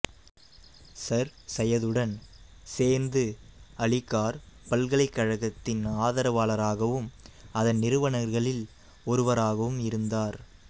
sir சையதுடன் சேர்ந்து அலிகார் பல்கலைக்கழகத்தின் ஆதரவாளராகவும் அதன் நிறுவனர்களில் ஒருவராகவும் இருந்தார்